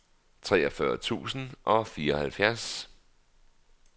treogfyrre tusind og fireoghalvtreds